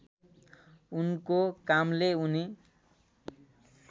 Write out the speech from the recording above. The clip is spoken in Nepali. उनको कामले उनी